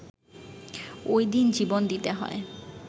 ওই দিন জীবন দিতে হয়